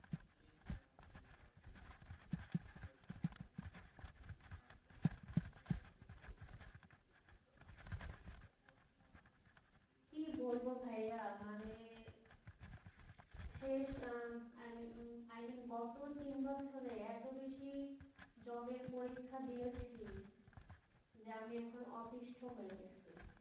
কি বলবো ভাইয়া মানে শেষ আহ i mean উম গত তিন বছরে এত বেশি job এর পরীক্ষা দিয়েছি যে আমি এখন অতিষ্ঠ হয়ে গেছি